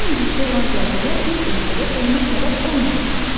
Eyni gücdə olan zəlzələ bir ölkədə ölümə səbəb olmaya bilər.